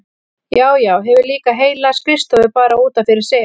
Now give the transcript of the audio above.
Já, já, hefur líka heila skrifstofu bara út af fyrir sig!